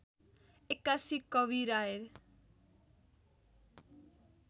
एक्कासी कवीर आए